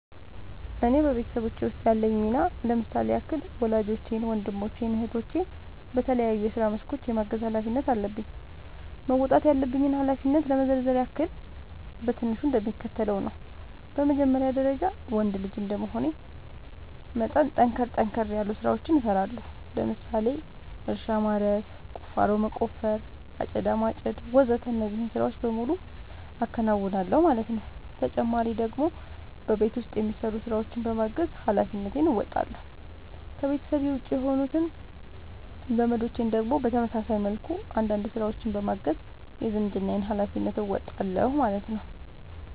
እኔ በቤተሰቦቼ ውስጥ ያለኝ ሚና ለምሳሌ ያክል ወላጆቼን ወንድሞቼን እህቶቼን በተለያዩ የስራ መስኮች የማገዝ ኃላፊነት አለብኝ። መወጣት ያለብኝን ኃላፊነት ለመዘርዘር ያክል በትንሹ እንደሚከተለው ነው በመጀመሪያ ደረጃ ወንድ ልጅ እንደመሆኔ መጠን ጠንከር ጠንከር ያሉ ስራዎችን እሰራለሁ ለምሳሌ እርሻ ማረስ፣ ቁፋሮ መቆፈር፣ አጨዳ ማጨድ ወዘተ እነዚህን ስራዎች በሙሉ አከናውናል ማለት ነው ተጨማሪ ደግሞ በቤት ውስጥ የሚሰሩ ስራዎችን በማገዝ ሃላፊነትን እንወጣለሁ። ከቤተሰቤ ውጪ የሆኑት ዘመዶቼን ደግሞ በተመሳሳይ መልኩ አንዳንድ ስራዎችን በማገዝ የዝምድናዬን ሀላፊነት እወጣለሁ ማለት ነው